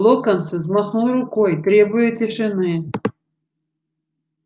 локонс взмахнул рукой требуя тишины